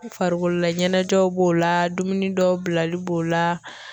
Farikololaɲɛnajɛw b'o la dumuni dɔw bilali b'o la.